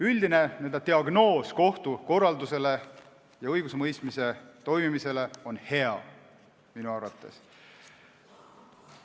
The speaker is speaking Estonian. Üldine n-ö diagnoos kohtukorraldusele ja õigusemõistmise toimimisele on minu arvates hea.